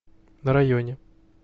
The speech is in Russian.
на районе